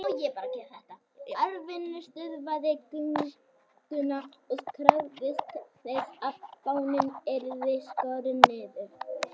Arnfinnur stöðvaði gönguna og krafðist þess að fáninn yrði skorinn niður.